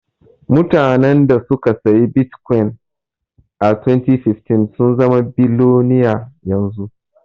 Mutanan da suka siyi bitkwin a 2015 sun zama biloniya yanzu.